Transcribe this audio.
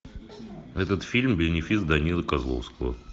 этот фильм бенефис данилы козловского